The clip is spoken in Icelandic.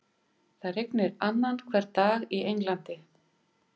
Það rignir annan hvern dag í Englandi.